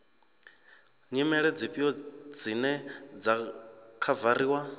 nyimele dzifhio dzine dza khavariwa